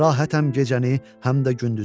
Rahətəm gecəni, həm də gündüzü.